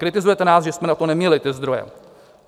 Kritizujete nás, že jsme na to neměli ty zdroje.